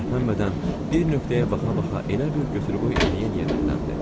Tərpənmədən, bir nöqtəyə baxa-baxa elə bil götür qoy eləyə-eləyə dilləndi.